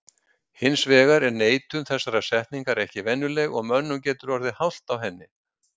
Hins vegar er neitun þessarar setningar ekki venjuleg og mönnum getur orðið hált á henni.